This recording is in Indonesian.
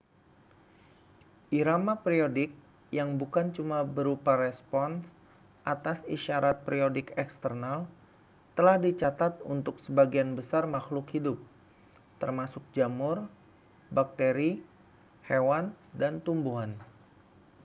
irama periodik yang bukan cuma berupa respons atas isyarat periodik eksternal telah dicatat untuk sebagian besar makhluk hidup termasuk jamur bakteri hewan dan tumbuhan